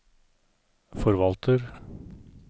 forvalter